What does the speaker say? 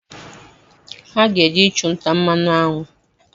Ha ga-eje ịchụnta mmanụ aṅụ